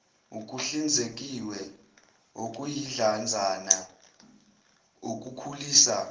okuhlinzekiwe okuyidlanzana okukhulisa